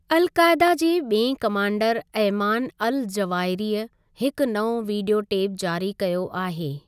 अल कायदा जे ॿिएं कमांडर अयमान अल जवाहिरी हिकु नओं वीडियो टेप जारी कयो आहे ।